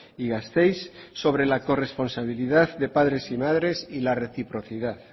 y gasteiz sobre la corresponsabilidad de padres y madres y la reciprocidad